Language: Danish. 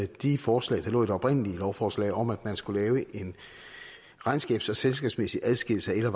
de forslag der lå i det oprindelige lovforslag om at man skulle lave en regnskabs og selskabsmæssig adskillelse af